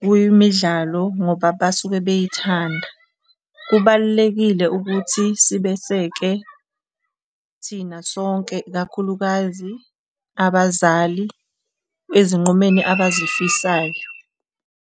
kwemidlalo ngoba basuke beyithanda. Kubalulekile ukuthi sibeseke thina sonke, ikakhulukazi abazali ezinqumeni abazifisayo.